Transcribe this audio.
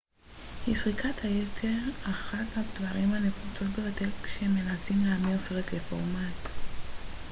אחת הבעיות הנפוצות ביותר כשמנסים להמיר סרט לפורמט dvd היא סריקת היתר